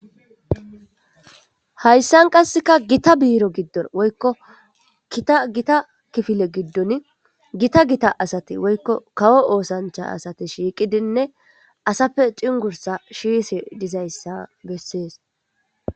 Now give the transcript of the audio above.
hayssan qasseka gita biiro giddon woykko kitagita kifile giddon gita gita asati woykko kawo oosancha asati shiiqidinne asappe cingursa shiise dizayssa bessees